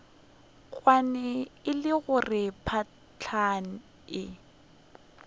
kwane le gore phahla e